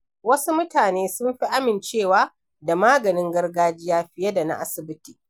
Wasu mutane sun fi amincewa da maganin gargajiya fiye da na asibiti.